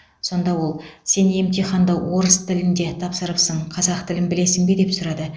сонда ол сен емтиханды орыс тілінде тапсырыпсың қазақ тілін білесің бе деп сұрады